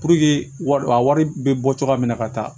Puruke wari a wari bɛ bɔ cogoya min na ka taa